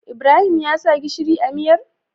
Ibrahim ya sa gishiri a miyar?